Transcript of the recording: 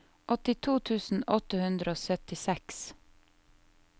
åttito tusen åtte hundre og syttiseks